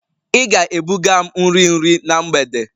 Ị ga-ebuga m nri nri na mgbede!